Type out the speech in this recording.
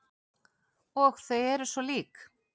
Og þau eru svo lík.